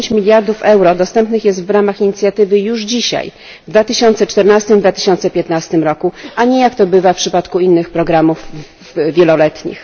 10 miliardów euro dostępnych jest w ramach inicjatywy już dzisiaj w 2014 i 2015 roku, a nie jak to bywa w przypadku innych programów wieloletnich.